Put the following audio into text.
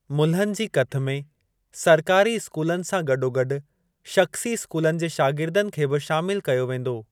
मुल्हनि जी कथ में सरकारी स्कूलनि सां गॾोगॾु शख़्सी स्कूलनि जे शागिर्दनि खे बि शामिल कयो वेंदो।